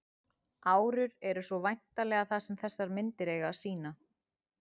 árur eru svo væntanlega það sem þessar myndir eiga að sýna